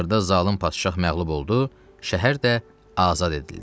Axırda zalım padşah məğlub oldu, şəhər də azad edildi.